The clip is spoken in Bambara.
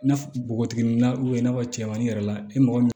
N'a fɔ npogotiginin na i n'a fɔ cɛmanmanin yɛrɛ la i mɔgɔ min